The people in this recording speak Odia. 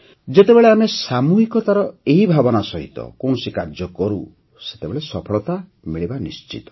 ଯେତେବେଳେ ଆମେ ସାମୂହିକତାର ଏହି ଭାବନା ସହିତ କୌଣସି କାର୍ଯ୍ୟ କରୁ ସେତେବେଳେ ସଫଳତା ମିଳିବା ନିଶ୍ଚିତ